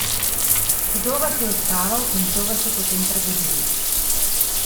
Kdo vas je uspaval in kdo vas je potem prebudil?